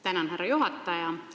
Tänan, härra juhataja!